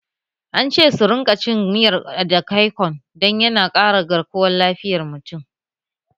An ce su rinka cin miyar edikaikong don yana ƙara garkuwan lafiyan mutum